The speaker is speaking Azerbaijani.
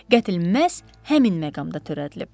Qətl məhz həmin məqamda törədilib.